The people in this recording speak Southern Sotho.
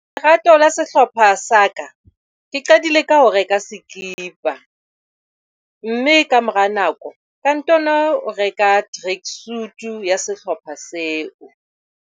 Lerato la sehlopha sa ka ke qadile ka ho reka sekipa mme ka mora nako ka ntano reka track suit ya sehlopha seo.